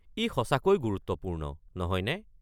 ই সঁচাকৈ গুৰুত্বপূৰ্ণ, নহয় নে?